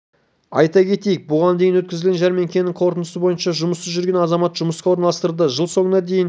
айта кетейік бұған дейін өткізілген жәрмеңкенің қорытындысы бойынша жұмыссыз жүрген азамат жұмысқа орналастырылды жыл соңына дейін